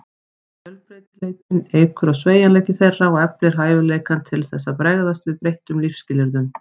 Fjölbreytileikinn eykur á sveigjanleika þeirra og eflir hæfileikann til þess að bregðast við breyttum lífsskilyrðum.